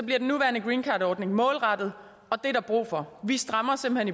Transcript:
den nuværende greencardordning målrettet og det er der brug for vi strammer simpelt